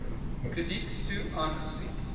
krediet toe aangesien